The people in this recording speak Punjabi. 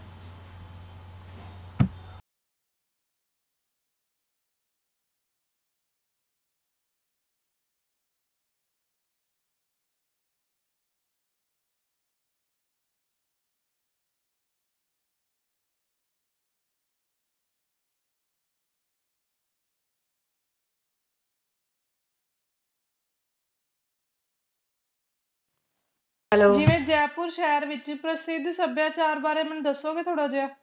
ਜਿਵੇ ਜੈਪੁਰ ਸ਼ਹਿਰ ਵਿਚ ਪ੍ਰਸਿੱਧ ਸਭਿਆਚਾਰ ਬਾਰੇ ਮੈਨੂੰ ਦਸੋਗੇ ਥੋੜਾ ਜਿਹਾ